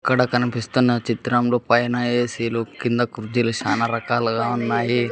అక్కడ కనిపిస్తున్న చిత్రంలో పైన ఏసీలు కింద కుర్చీలు చానా రకాలుగా ఉన్నాయి.